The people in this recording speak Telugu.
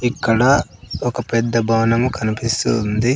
ఇక్కడ ఒక పెద్ద భవనము కన్పిస్తూ ఉంది.